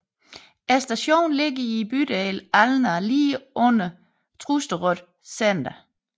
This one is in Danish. Stationen ligger i bydelen Alna lige under Trosterud senter